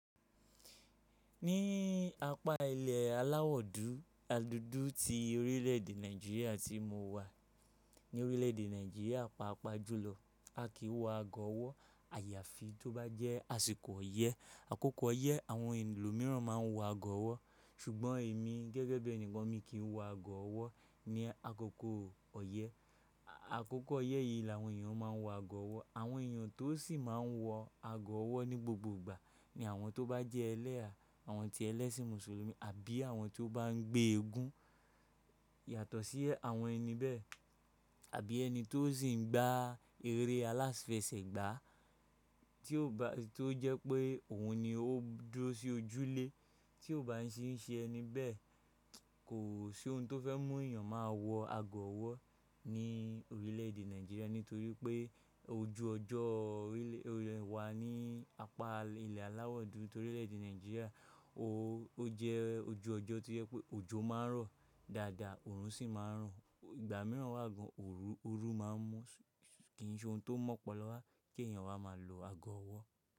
Ní apá ilẹ̀ aláwọ̀ dudu ti orílẹ̀-èdè Nàìjíríà tí mo wà, ní orílẹ̀-èdè Nàìjíríà pàápàá jùlọ a kìí wọ ago ọwọ́. Àyàfi tó bá jẹ́ àsìkò ọyẹ́, àkókò ọyẹ́ àwọn ẹ lo míràn ma ń wọ ago ọwọ́. Ṣùgbọ́n èmi gẹ́gẹ́ bí ẹni kan mi kì í wọ ago ọwọ́ ní àkókò ọyẹ́. Àkókò ọyẹ́ yìí làwọn èèyàn ma ń wọ ago ọwọ́. Àwọn èèyàn tó sì máa ń wọ ago ọwọ́ ní gbogbo ìgbà ni àwọn tó bá jẹ́ ẹlẹ́ha, àwọn ti ẹlẹ́sìn mùsùlùmí àbí àwọn tí ó bá ń gbé eégún. Yàtọ̀ sí àwọn ẹni bẹ́ẹ̀ àbí ẹni tó sì ń gba eré aláfẹsẹ̀gbá tí ó jẹ́ pé òun ni ó dúró sí ojúlé tí ò bá sì ń ṣe ẹni bẹ́ẹ̀, kò sí ohun tó fẹ́ mú èèyàn máa wọ ago ọwọ́ ní orílẹ̀èdè Nàìjíríà nítorí pé ojú ọjọ́ orílẹ̀ wa ní apá ilẹ̀ aláwọ̀ dúdú torílẹ̀èdè Nàìjíríà ó jẹ́ ojú ọjọ́ tí yẹ pé òjò máa ń rọ̀ dáadáa, òòrùn sì máa ń ràn. Ìgbà mìíràn wá gan òru máa ń mú. Kì í ṣe ohun tó mọ́pọlọ wá kí èèyàn wá máa lo ago ọwọ́